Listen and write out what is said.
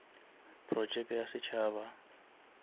projeke ya setšhaba